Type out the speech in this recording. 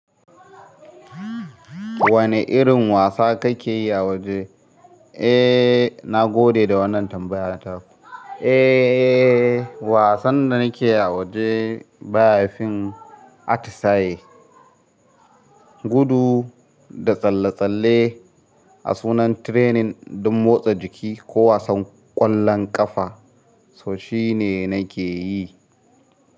Wane irin wasa kake yi a waje? Eh, na gode da wannan tambayar taku. Eh, wasan da nake yi a waje ba ya fin atisaye. Gudu da tsalle-tsalle a sunan training don motsa jiki ko wasan ƙwallon ƙafa, so shi ne nake yi.